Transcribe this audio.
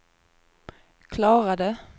klarade